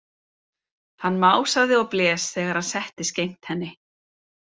Hann másaði og blés þegar hann settist gegnt henni.